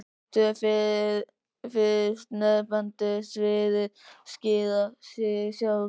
Tvö fyrstnefndu sviðin skýra sig sjálf.